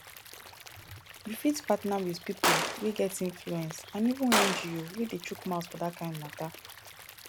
you fit partner with pipo wey get influence and even ngo wey dey chook mouth for dat kind matter